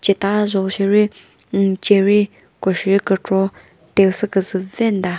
ceta zho sheri hmm cherry ko shi kükro te sü küzü vemta.